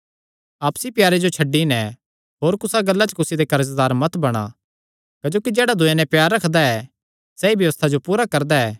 आपसी प्यारे जो छड्डी नैं होर कुसा गल्ला च कुसी दे कर्जदार मत बणा क्जोकि जेह्ड़ा दूये नैं प्यार रखदा ऐ सैई व्यबस्था जो पूरा करदा ऐ